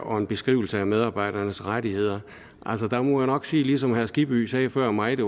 og en beskrivelse af medarbejdernes rettigheder altså der må jeg nok sige ligesom herre skibby sagde før mig at det